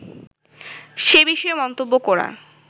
সে বিষয়ে মন্তব্য করার